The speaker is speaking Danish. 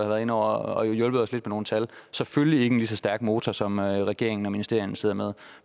været inde over og hjulpet os lidt med nogle tal selvfølgelig ikke en lige så stærk motor som regeringen og ministerierne sidder med